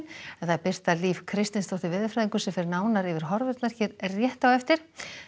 Birta Líf Kristinsdóttir veðurfræðingur fer nánar yfir horfurnar hér rétt á eftir